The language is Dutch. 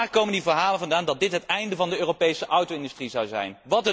Waar komen die verhalen vandaan dat dit het einde van de Europese auto industrie zou betekenen?